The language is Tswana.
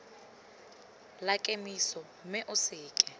la kemiso mme o seke